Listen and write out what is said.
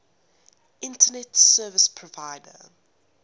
internet service provider